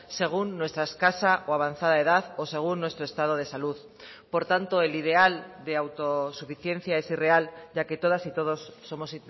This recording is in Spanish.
según nuestra escasa o avanzada edad o según nuestro estado de salud por tanto el ideal de autosuficiencia es irreal ya que todas y todos somos